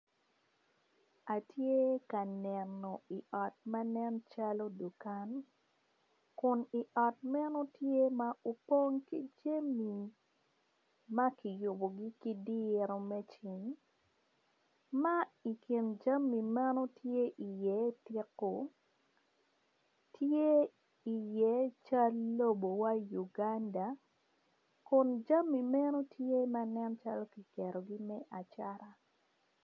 Atye ka neno i ot ma nen calo dukan kun i ot meno tye ma opong ki jami ma kiyubugi ki dirou me cing ma i kin janmi men tye iye tiku tye iye cal lobowa Uganda kun jami meni tye ma nen calo ki ketogi me acata